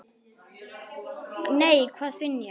Nei, hvað finn ég!